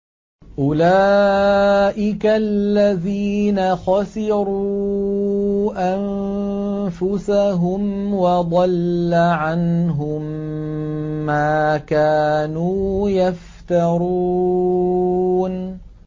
أُولَٰئِكَ الَّذِينَ خَسِرُوا أَنفُسَهُمْ وَضَلَّ عَنْهُم مَّا كَانُوا يَفْتَرُونَ